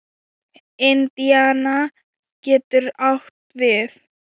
Indiana getur átt við